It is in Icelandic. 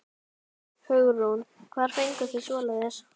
Hugrún: Hvar fenguð þið svoleiðis?